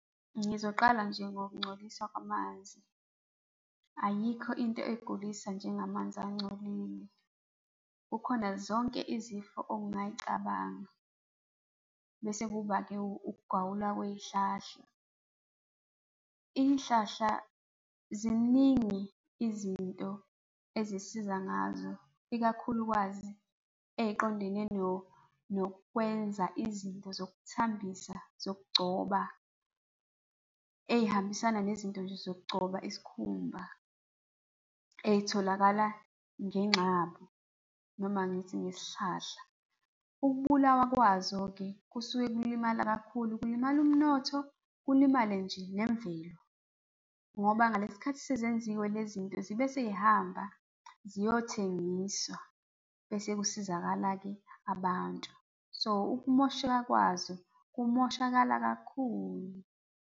Ngizoqala nje nokungcoliswa kwamanzi. Ayikho into egulisa njengamanzi angcolile. Kukhona zonke izifo ongayicabanga. Bese kuba-ke ukugawulwa kwey'hlahla. Iy'hlahla, ziningi izinto ezisisiza ngazo, ikakhulukazi ey'qondene nokwenza izinto zokuthambisa, zokugcoba, ey'hambisana nezinto nje zokugcoba isikhumba ey'tholakala ngengxabu noma ngithi ngesihlahla. Ukubulawa kwazo-ke kusuke kulimala kakhulu, kulimala umnotho, kulimale nje nemvelo. Ngoba ngalesi sikhathi sezenziwe le zinto zibe sey'hamba, ziyothengiswa bese kusizakala-ke abantu. So, ukumosheka kwazo kumoshakala kakhulu.